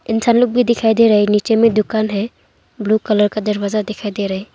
इंसान लोग भी दिखाई दे रहे हैं नीचे में दुकान है ब्लू कलर का दरवाजा दिखाई दे रहे।